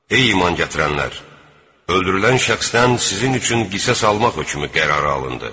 Ey iman gətirənlər, öldürülən şəxsdən sizin üçün qisas almaq hökmü qərara alındı.